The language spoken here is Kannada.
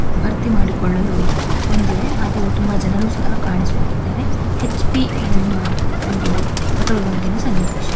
ಭರ್ತಿ ಮಾಡಿಕೊಳ್ಳಲು ಬಂದಿವೆ ಹಾಗು ತುಂಬಾ ಜನರು ಸಹ ಕಾಣಿಸುತ್ತಿದ್ದಾರೆ ಹೆಚ್_ಪಿ ಎನ್ನುವ ಒಂದು ಪೆಟ್ರೋಲ್ ಬಂಕಿನ ಸನ್ನಿವೇಶ.